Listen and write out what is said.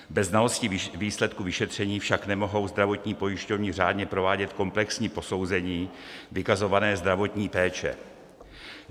Bez znalosti výsledku vyšetření však nemohou zdravotní pojišťovny řádně provádět komplexní posouzení vykazované zdravotní péče.